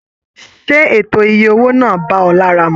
Ṣe ètò ìyè owó náà bá ọ lára mú?